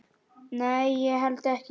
Nei, ég held ekki.